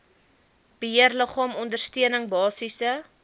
beheerliggaam ondersteuning basiese